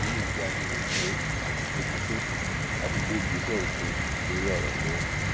ìdí nìyí tí a fi rò ó pé àsìkò ti tó láti gbé ìgbésẹ òfin lórí ọrọ náà